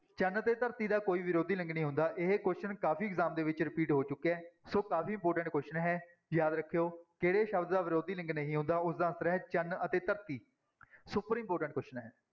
ਚੰਨ ਤੇ ਧਰਤੀ ਦਾ ਕੋਈ ਵਿਰੋਧੀ ਲਿੰਗ ਨਹੀਂ ਹੁੰਦਾ, ਇਹ question ਕਾਫ਼ੀ exam ਦੇ ਵਿੱਚ repeat ਹੋ ਚੁੱਕਿਆ ਹੈ ਸੋ ਕਾਫ਼ੀ important question ਹੈ ਯਾਦ ਰੱਖਿਆ, ਕਿਹੜੇ ਸ਼ਬਦ ਦਾ ਵਿਰੋਧੀ ਲਿੰਗ ਨਹੀਂ ਹੁੰਦਾ ਉਸਦਾ answer ਹੈ ਚੰਨ ਅਤੇ ਧਰਤੀ super important question ਹੈ।